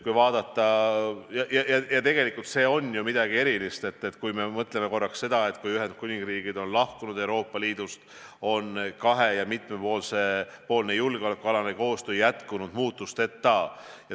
Ja tegelikult see on ju midagi erilist, kui me mõtleme, et kuigi Ühendkuningriik on Euroopa Liidust lahkunud, on kahe- ja mitmepoolne julgeolekualane koostöö jätkunud muutusteta.